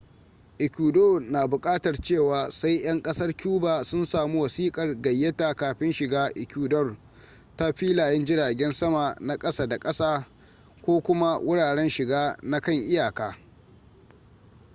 ecuador na bukatar cewa sai 'yan kasar cuba sun samu wasikar gayyata kafin shiga ecuador ta filayen jiragen sama na ƙasa da ƙasa ko kuma wuraren shiga na kan iyaka